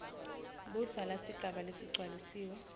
budzala sigaba lesigcwalisiwe